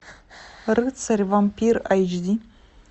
рыцарь вампир айч ди